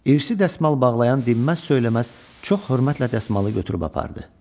İrsi dəsmal bağlayan dinməz söyləməz çox hörmətlə dəsmalı götürüb apardı.